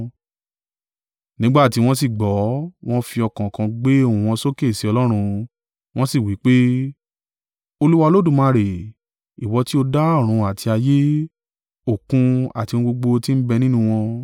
Nígbà tí wọ́n sì gbọ́, wọ́n fi ọkàn kan gbé ohùn wọn sókè sí Ọlọ́run, wọ́n sì wí pé, “Olúwa Olódùmarè, ìwọ tí ó dá ọ̀run àti ayé, òkun, àti ohun gbogbo tí ń bẹ nínú wọn.